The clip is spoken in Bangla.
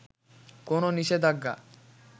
কোন নিষেধাজ্ঞা